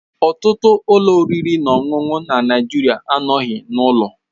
Ọtụtụ ụlọ oriri na ọṅụṅụ na Nigeria anọghị n'ụlọ.